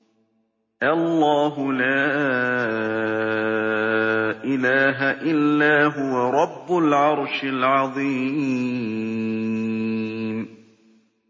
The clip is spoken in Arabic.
اللَّهُ لَا إِلَٰهَ إِلَّا هُوَ رَبُّ الْعَرْشِ الْعَظِيمِ ۩